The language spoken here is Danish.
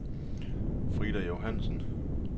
Frida Johansen